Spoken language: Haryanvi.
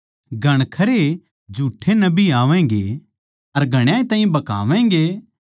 घणखरे झूठ्ठे नबी आवैगें अर घणाए ताहीं भकावैगें